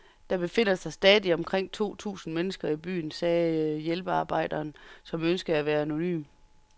Der befinder sig stadig omkring to tusind mennesker i byen, sagde hjælpearbejderen, som ønskede at være anonym.